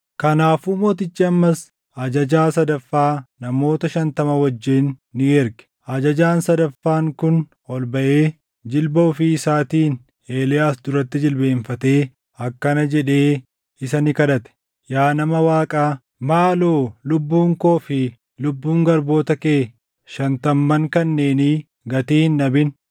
Kanaafuu mootichi ammas ajajaa sadaffaa namoota shantama wajjin ni erge. Ajajaan sadaffaan kun ol baʼee jilba ofii isaatiin Eeliyaas duratti jilbeenfatee akkana jedhee isa ni kadhate; “Yaa nama Waaqaa, maaloo lubbuun koo fi lubbuun garboota kee shantamman kanneenii gatii hin dhabin!